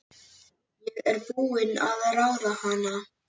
Ég er búin að ráða hana!